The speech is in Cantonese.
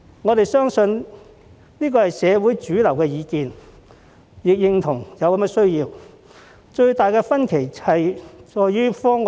我們相信這也是社會的主流意見，亦認同有此需要，最大的分歧在於方案的具體細節。